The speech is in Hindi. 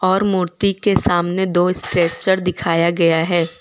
और मूर्ति के सामने दो स्ट्रेचर दिखाया गया है।